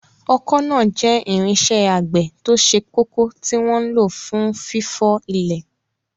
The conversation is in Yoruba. Ọkọ́ náà jẹ́ irinṣẹ́ àgbẹ̀ tó ṣe kókó tí wọ́n ń lò fún fífọ́ ilẹ̀.